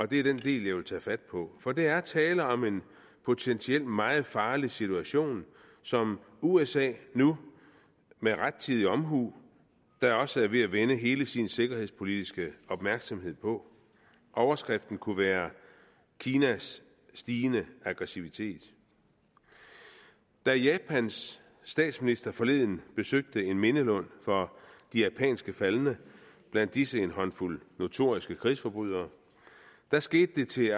det er den del jeg vil tage fat på for der er tale om en potentielt meget farlig situation som usa nu med rettidig omhu da også er ved at vende hele sin sikkerhedspolitiske opmærksomhed mod overskriften kunne være kinas stigende aggressivitet da japans statsminister forleden besøgte en mindelund for de japanske faldne blandt disse en håndfuld notoriske krigsforbrydere skete det til